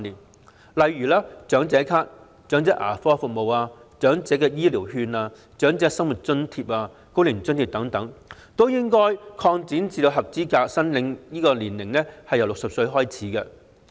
舉例而言，長者咭、長者牙科服務、長者醫療券、長者生活津貼、高齡津貼等均應該將合資格申領年齡下調至60歲。